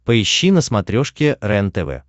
поищи на смотрешке рентв